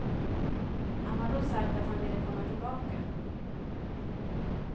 Han har då sagt att han ville komma tillbaka.